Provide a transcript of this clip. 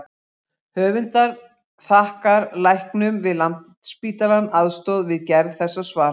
Höfundar þakkar læknum við Landspítalann aðstoð við gerð þessa svars.